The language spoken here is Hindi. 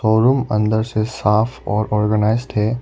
शोरूम अंदर से साफ और ऑर्गेनाइज्ड है।